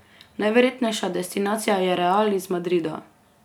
Najverjetnejša destinacija je Real iz Madrida.